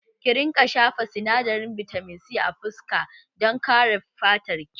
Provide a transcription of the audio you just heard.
Ki rinƙa shafa sinadarin bitamin C a fuska dan ƙare fatar ki